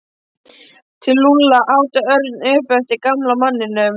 Til Lúlla? át Örn upp eftir gamla manninum.